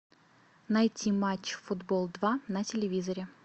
найти матч футбол два на телевизоре